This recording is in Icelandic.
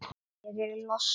Ég er í losti.